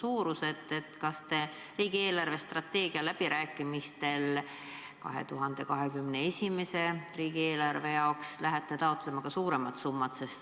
Kas te lähete riigi eelarvestrateegia läbirääkimistel 2021. aasta riigieelarve jaoks taotlema suuremat summat?